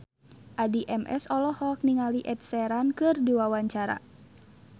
Addie MS olohok ningali Ed Sheeran keur diwawancara